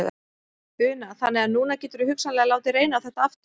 Una: Þannig að núna geturðu hugsanlega látið reyna á þetta aftur?